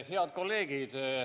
Head kolleegid!